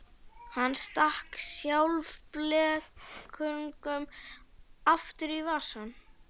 Hann stakk sjálfblekungnum aftur í vasann.